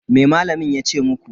Me malamin ya ce muku?